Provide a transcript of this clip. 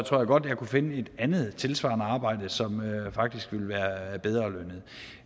tror jeg godt at jeg kunne finde en andet tilsvarende arbejde som faktisk ville være bedre lønnet